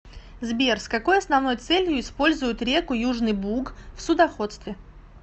сбер с какой основной целью используют реку южный буг в судоходстве